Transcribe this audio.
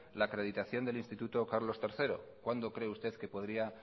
la acreditación del instituto carlos tercero cuándo cree usted que podría